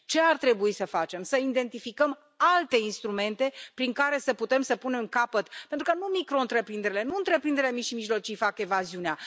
Ce ar trebui să facem să identificăm alte instrumente prin care să putem să punem capăt─ pentru că nu microîntreprinderile, nu întreprinderile mici și mijlocii fac evaziunea